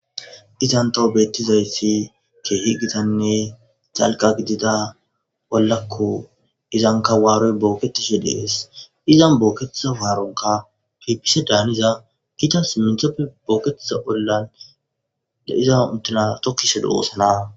izantoho beettizayssi keehi gitanne xalga gidida bollakko izankawaaroy booketeshe dees izan booketeza waaronka pipise daaniza giita iminthoppe booketesa ollan de iza untina tokkise de oosana